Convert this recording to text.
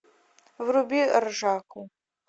вруби ржаку